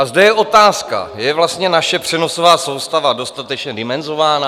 A zde je otázka: Je vlastně naše přenosová soustava dostatečně dimenzována?